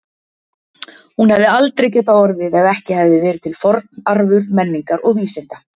Hún hefði aldrei getað orðið ef ekki hefði verið til forn arfur menningar og vísinda.